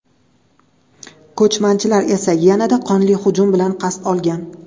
Ko‘chmanchilar esa yanada qonli hujum bilan qasd olgan.